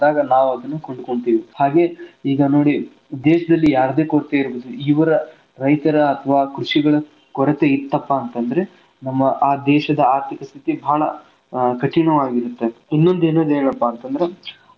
ನಾವ್ ಅದ್ನ ಕೊಂಡಕೋತೇವಿ. ಹಾಗೆ ಈಗ ನೋಡಿ ದೇಶದಲ್ಲಿ ಯಾವದೆ ಕೊರತೆ ಇರ್ಬಹುದ್ ಇವರ ರೈತರ ಅತವಾ ಕೃಷಿಗಳ ಕೊರತೆ ಇತ್ತಪಾ ಅಂತಂದ್ರೆ ನಮ್ಮ ಆ ದೇಶದ ಆರ್ಥಿಕ ಸ್ಥಿತಿ ಬಾಳ್ ಆ ಕಠಿಣವಾಗಿರುತ್ತೆ. ಇನ್ನೊಂದ್ ಏನೋ ಹೇಳೊದಪ್ಪಾ ಅಂತಂದ್ರೆ ಅವ್ರಿಗೂ.